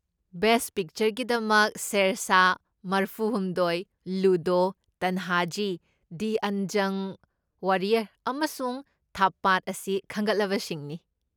Best ꯄꯤꯛꯆꯔꯒꯤꯗꯃꯛ, ꯁꯦꯔꯁꯥꯍ, ꯃꯔꯐꯨꯍꯨꯝꯗꯣꯢ, Ludo, Tanhaji the unsung warrior, ꯑꯃꯁꯨꯡ ꯊꯥꯞꯄꯗ ꯑꯁꯤ ꯈꯟꯒꯠꯂꯕꯁꯤꯡꯅꯤ꯫